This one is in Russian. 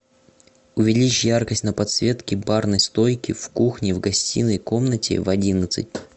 увеличь яркость на подсветке барной стойки в кухне в гостиной комнате в одиннадцать